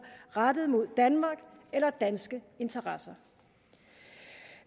rettet mod danmark eller danske interesser